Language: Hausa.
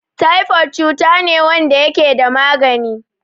Taifo cutane wanda yakeda magani